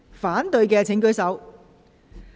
反對的請舉手。